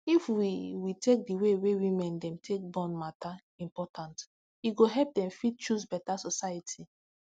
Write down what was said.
if we we take d way women dem take born matter important e go help dem fit choose beta society